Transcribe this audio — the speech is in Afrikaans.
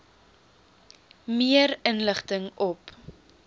meer inligting op